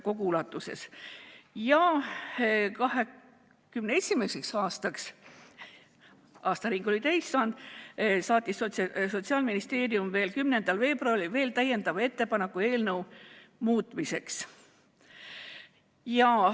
2021. aastal – aastaring oli täis saanud – saatis Sotsiaalministeerium 10. veebruaril veel täiendava ettepaneku eelnõu muutmiseks.